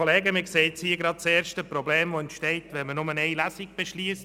Wir sehen gerade das erste Problem, das entsteht, wenn man nur eine Lesung beschliesst.